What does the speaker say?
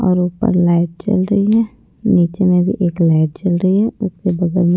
और ऊपर लाइट जल रही है नीचे में भी एक लाइट जल रही है उसके बगल में --